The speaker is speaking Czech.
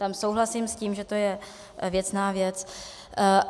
Tam souhlasím s tím, že je to věcná věc.